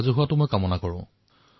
জনসহযোগিতা বৃদ্ধি কৰক